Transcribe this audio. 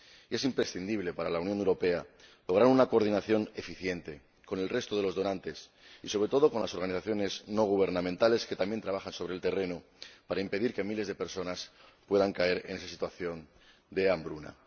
Es imprescindible para la Unión Europea lograr una coordinación eficiente con el resto de los donantes, y sobre todo con las organizaciones no gubernamentales que también trabajan sobre el terreno, para impedir que miles de personas puedan caer en esa situación de hambruna.